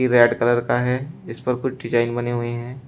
Red colour का है इस पर कुछ डिजाइन बने हुए हैं।